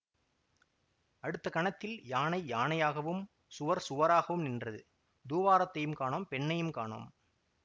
அடுத்த கணத்தில் யானை யானையாகவும் சுவர் சுவராகவும் நின்றது தூவாரத்தையும் காணோம் பெண்ணையும் காணோம்